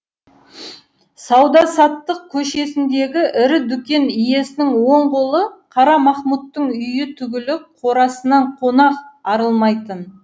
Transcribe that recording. сауда саттық көшесіндегі ірі дүкен иесінің оң қолы қара махмұттың үйі түгілі қорасынан қонақ арылмайтын